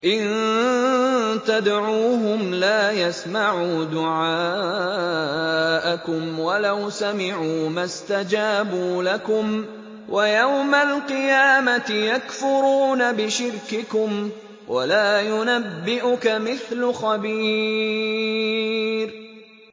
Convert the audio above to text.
إِن تَدْعُوهُمْ لَا يَسْمَعُوا دُعَاءَكُمْ وَلَوْ سَمِعُوا مَا اسْتَجَابُوا لَكُمْ ۖ وَيَوْمَ الْقِيَامَةِ يَكْفُرُونَ بِشِرْكِكُمْ ۚ وَلَا يُنَبِّئُكَ مِثْلُ خَبِيرٍ